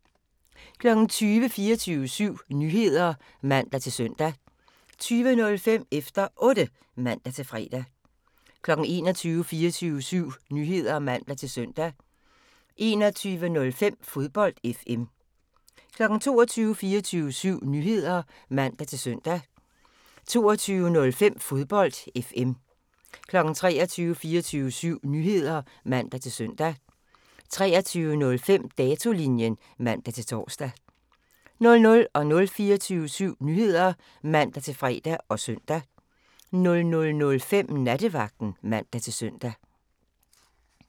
20:00: 24syv Nyheder (man-søn) 20:05: Efter Otte (man-fre) 21:00: 24syv Nyheder (man-søn) 21:05: Fodbold FM 22:00: 24syv Nyheder (man-søn) 22:05: Fodbold FM 23:00: 24syv Nyheder (man-søn) 23:05: Datolinjen (man-tor) 00:00: 24syv Nyheder (man-fre og søn) 00:05: Nattevagten (man-søn)